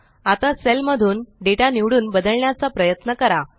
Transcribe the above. आता सेल मधून डेटा निवडून बदलण्याचा प्रयत्न करा